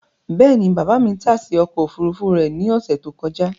Bẹ́ẹ̀ni, baba mi tase ọkọ ofurufu rẹ ni ọsẹ to kọja